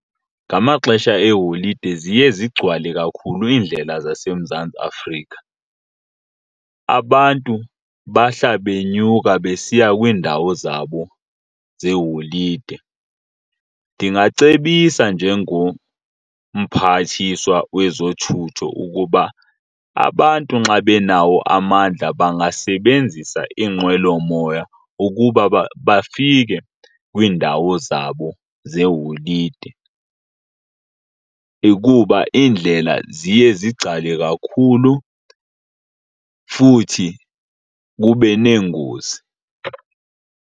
Ngamaxesha eeholide ziye zigcwale kakhulu iindlela zaseMzantsi Afrika, abantu bahla benyuka besiya kwiindawo zabo zeholide. Ndingacebisa njengoMphathiswa wezoThutho ukuba abantu nxa benawo amandla bangasebenzisa iinqwelomoya ukuba bafike kwiindawo zabo zeholide, ikuba indlela ziye zigcwale kakhulu futhi kube neengozi.